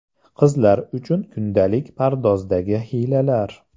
Qizlar uchun kundalik pardozdagi hiylalar.